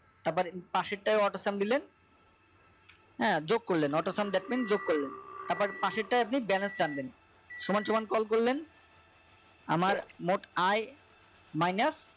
তারপর পাশের টাই AutoSum দিলেন হ্যাঁ যোগ করলেন AutoSum দেখলেন যোগ করলেন তারপর পাশেরটায় আপনি balance টানলেন সমান সমান call করলেন আমার মোট আয় minus